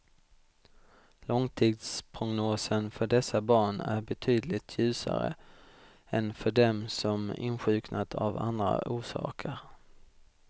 Långtidsprognosen för dessa barn är betydligt ljusare än för dem som insjuknat av andra orsaker.